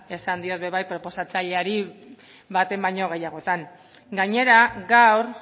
esan diot ere bai proposatzaileari baten baino gehiagotan gainera gaur